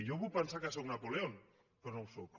jo puc pensar que sóc napoleó però no ho sóc